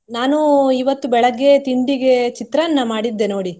ನಾನು ಇವತ್ತು ಬೆಳಗ್ಗೆ ತಿಂಡಿಗೆ ಚಿತ್ರಾನ್ನ ಮಾಡಿದ್ದೆ ನೋಡಿ.